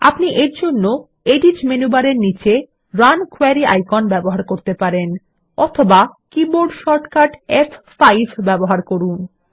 আপনি এরজন্য edit menu বারের নিচে রান কোয়েরি আইকন ব্যবহার করতে পারেন অথবা কীবোর্ড শর্টকাট ফ5 ব্যবহার করুন